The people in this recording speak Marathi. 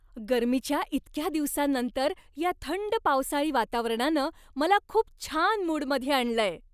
गर्मीच्या इतक्या दिवसांनंतर, या थंड पावसाळी वातावरणानं मला खूप छान मूडमध्ये आणलंय.